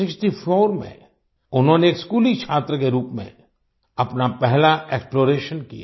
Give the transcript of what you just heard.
1964 में उन्होंने एक स्कूली छात्र के रूप में अपना पहला एक्सप्लोरेशन किया